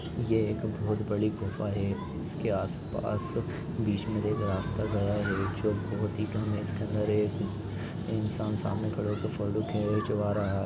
यह एक बहुत बड़ी गुफा है इसके आस-पास बीच में देखो रास्ता गया-- है इंसान समाने खड़े होके